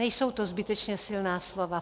Nejsou to zbytečně silná slova.